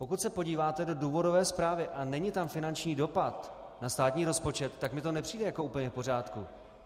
Pokud se podíváte do důvodové zprávy a není tam finanční dopad na státní rozpočet, tak mi to nepřijde jako úplně v pořádku.